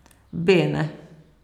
Bene.